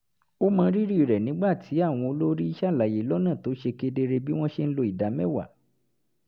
ó mọrírì rẹ̀ nígbà tí àwọn olórí ṣàlàyé lọ́nà tó ṣe kedere bí wọ́n ṣe ń lo ìdá mẹ́wàá